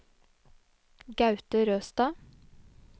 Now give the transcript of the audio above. Gaute Røstad